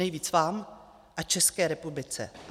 Nejvíc vám a České republice.